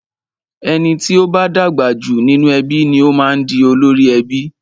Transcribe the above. Ẹni tí o bá dàgbà jù nínú ẹbí ni o máa ń di olórí ẹbí.